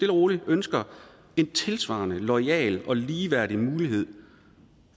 og roligt ønsker en tilsvarende loyal og ligeværdig mulighed